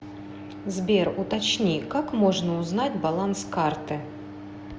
сбер уточни как можно узнать баланс карты